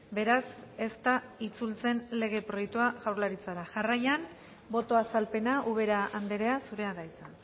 beraz ez da itzultzen lege proiektua jaurlaritzara jarraian boto azalpena ubera andrea zurea da hitza